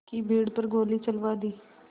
की भीड़ पर गोली चलवा दी